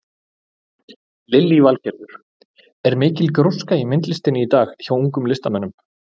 Lillý Valgerður: Er mikil gróska í myndlistinni í dag hjá ungum listamönnum?